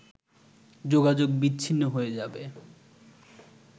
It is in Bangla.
যোগাযোগ বিচ্ছিন্ন হয়ে যাবে